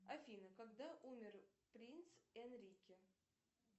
афина когда умер принц энрике